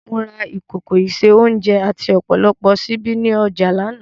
Mo ra ìkòkò ìse-oúnjẹ àti ọ̀pọ̀lọpọ̀ ṣíbí ní ọjà lánàá